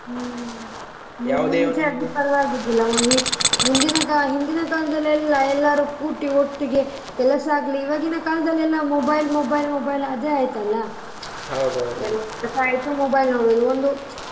ಹ್ಮ್ ಪರವಾಗಿರ್ಲಿಲ್ಲ ಮುಂದಿನ ಹಿಂದಿನ ಕಾಲದಲ್ಲಿ ಎಲ್ಲ ಎಲ್ಲರೂ ಕೂತಿ ಒಟ್ಟಿಗೆ ಕೆಲಸ ಆಗ್ಲಿ ಈವಾಗಿನ ಕಾಲದಲ್ಲಿ mobile, mobile, mobile ಅದೇ ಆಯ್ತಲ್ಲ. mobile ನೋಡೋದು ಒಂದು.